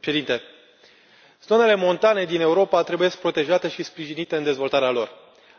Domnule președinte, zonele montane din Europa trebuie protejate și sprijinite în dezvoltarea lor.